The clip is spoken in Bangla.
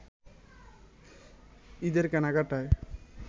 ঈদের কেনাকাটায়